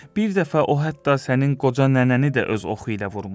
bir dəfə o hətta sənin qoca nənəni də öz oxu ilə vurmuşdu.